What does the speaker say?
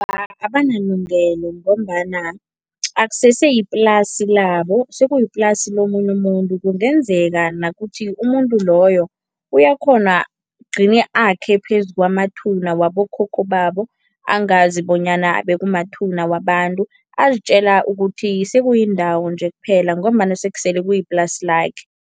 Abanelungelo ngombana akuseseyiplasi labo, sekuyiplasi lomunye umuntu. Kungenzeka nakuthi umuntu loyo uyakghona ugcine akhe phezu kwamathuna wabokhokho babo, angazi bonyana bekumathuna wabantu, azitjela ukuthi sekuyindawo nje kuphela ngombana sekusele kuyiplasi lakhe.